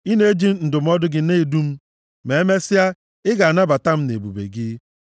Ị na-eji ndụmọdụ gị na-edu m, ma emesịa, ị ga-anabata m nʼebube gị.